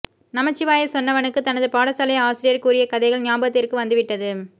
நமச்சிவாய சொன்னவனுக்கு தனது பாடசாலை ஆசிரியர் கூறிய கதைகள் ஞாபகத்திற்கு வந்துவிட்டது